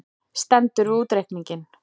Stendur við útreikninginn